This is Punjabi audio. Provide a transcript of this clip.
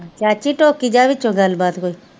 ਚਾਚੀ ਟੋਕੀ ਜਾ ਵਿੱਚੋਂ ਗੱਲਬਾਤ ਕੋਈ